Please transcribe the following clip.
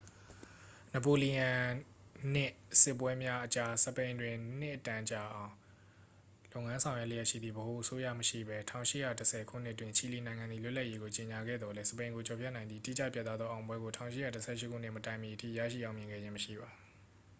နပိုလီယွန်နစ် စစ်ပွဲများအကြား စပိန်တွင် နှစ်အတန်ကြာအောင် လုပ်ငန်းဆောင်ရွက်လျက်ရှိသည့် ဗဟိုအစိုးရမရှိဘဲ ၁၈၁၀ ခုနှစ်တွင် ချီလီနိုင်ငံသည် လွတ်လပ်ရေးကို ကြေညာခဲ့သော်လည်း၊ စပိန်ကိုကျော်ဖြတ်နိုင်သည့် တိကျပြတ်သားသောအောင်ပွဲကို ၁၈၁၈ ခုနှစ်မတိုင်မီအထိ ရရှိအောင်မြင်ခဲ့ခြင်းမရှိပါ။